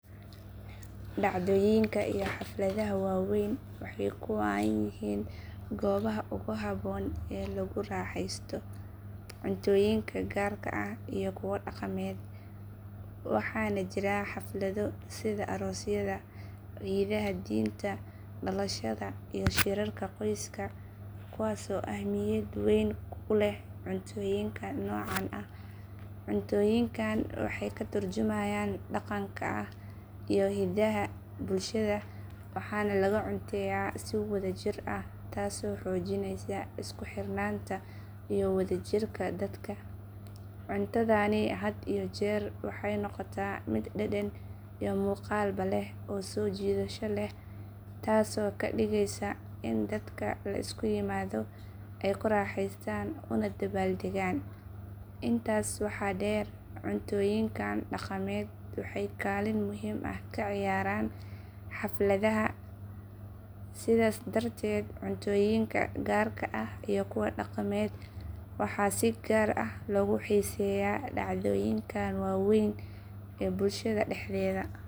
Dhacdooyinka iyoxafladahawaaweeynwaxaykuwan yihiingoobaha uguhaboon ee laguugu xaaxaysto cuntooyinka gaarka ah iyo kuwa dhaqameed. Waxaana jiraxaflado sida aroosyada, ciidaha diinta, dhalashada, iyo shirarka qoyska kuwaasoo ahmiyad weyn uleh cuntooyinka noocan ah. Cuntooyinkan waxayka turjumayaan dhaqanka iyo hiddaha bulshada, waxaana laga cunteeyaa si wadajir ah taasoo xoojinaysa isku xirnaanta iyo wadajirka dadka. Cuntadani had iyo jeer waxay noqotaa mid dhadhan iyo muuqaalba leh oo soo jiidasho leh, taasoo ka dhigaysa in dadka la isu yimaado ay ku raaxaystaan una dabaaldeggaan. Intaas waxaa dheer, cuntooyinkan dhaqameed waxay kaalin muhiim ah ka ciyaaraan xafladaha si looga dhigo kuwo xusuus iyo sharaf leh. Sidaas darteed, cuntooyinka gaarka ah iyo kuwa dhaqameed waxaa si gaar ah loogu xiiseeyaa dhacdooyinkan waaweyn ee bulshada dhexdeeda.